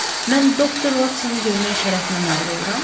Mən Doktor Vatsonu görmək şərəfinə nail oluram?